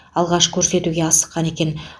алғаш көрсетуге асыққан екен